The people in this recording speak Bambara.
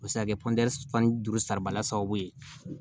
O bɛ se ka kɛ fan duuru saribaliya sababu ye